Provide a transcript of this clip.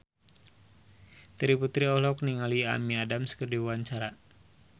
Terry Putri olohok ningali Amy Adams keur diwawancara